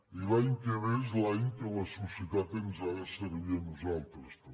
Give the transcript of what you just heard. i l’any que ve és l’any que la societat ens ha de servir a nosaltres també